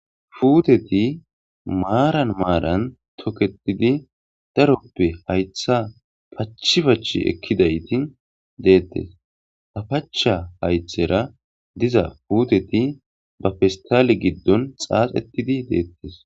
fuuteti maaran maaran toketidi daroppe haytha pachi pachi ekkidayti deettes ta pacha haythera diza puuteti ba fistale giddon xaaxetidi deettes